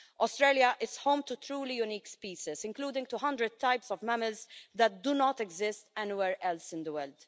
Australia is home to truly unique species, including 200 types of mammals that do not exist anywhere else in the world.